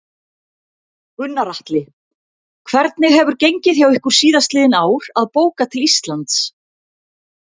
Gunnar Atli: Hvernig hefur gengið hjá ykkur síðastliðin ár að bóka til Íslands?